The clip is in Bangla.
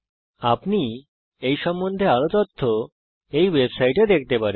এবং আপনি এই সম্বন্ধে আরও তথ্য এই ওয়েবসাইটে দেখতে পারেন